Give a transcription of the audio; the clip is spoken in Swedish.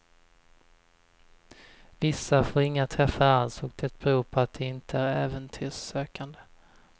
Vissa får inga träffar alls och det beror på att de inte är äventyrssökande.